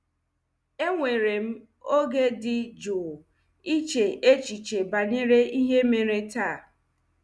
Ewere m oge dị jụụ iche echiche banyere ihe mere taa.